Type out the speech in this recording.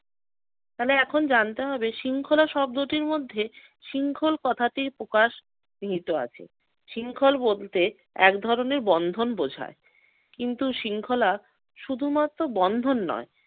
তাহলে এখন জানতে হবে শৃঙ্খলা শব্দটির মধ্যে শৃংখল কথাটির প্রকাশ নিহিত আছে। শৃংখল বলতে এক ধরনের বন্ধন বুঝায়। কিন্তু শৃঙ্খলা শুধুমাত্র বন্ধন নয়